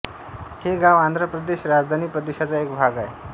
हे गाव आंध्र प्रदेश राजधानी प्रदेशाचा एक भाग आहे